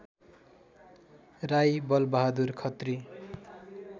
Rai Balbahadur Khatri